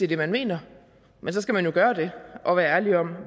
det man mener men så skal man gøre det og være ærlig om